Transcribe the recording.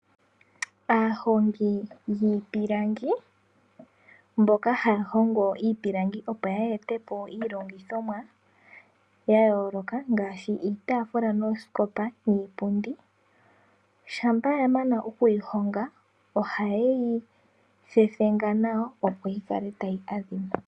Aahongi yiipilangi mboka haya hongo iipilangi opo yeete po iilongithomwa ya yooloka ngaashi iitaafula, noosikopa niipundi, shampa ya mana oku yi honga ohaye yi thethenga nawa opo yi kale tayi adhima.